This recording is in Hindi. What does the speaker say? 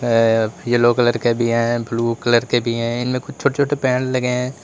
हैं येलो कलर के भी हैं ब्लू कलर के भी हैं इनमें कुछ छोटे-छोटे पैंड़ लगे हैं।